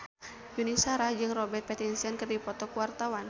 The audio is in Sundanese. Yuni Shara jeung Robert Pattinson keur dipoto ku wartawan